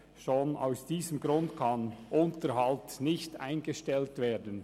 Schon aus diesem Grund kann der Unterhalt nicht eingestellt werden.